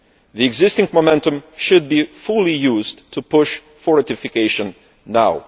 The existing momentum should be fully used to push for ratification now.